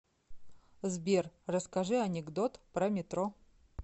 сбер расскажи анекдот про метро